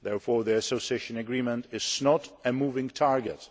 Therefore the Association Agreement is not a moving target.